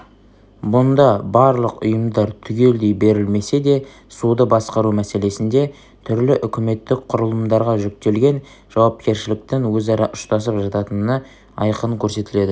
мұнда барлық ұйымдар түгелдей берілмесе де суды басқару мәселесінде түрлі үкіметтік құрылымдарға жүктелген жауапкершіліктің өзара ұштасып жататыны айқын көрсетіледі